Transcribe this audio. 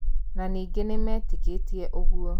Na ningĩ nimeetĩkĩtie ũgo